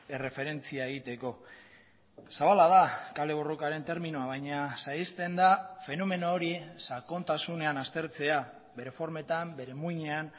erreferentzia egiteko zabala da kale borrokaren terminoa baina saihesten da fenomeno hori sakontasunean aztertzea bere formetan bere muinean